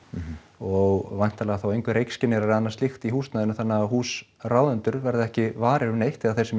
og væntanlega þá engir reykskynjarar eða annað slíkt þá í húsnæðinu þannig að húsráðendur verða ekki varir við neitt eða þeir sem